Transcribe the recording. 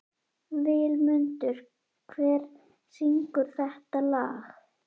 Vilmundur, hver syngur þetta lag?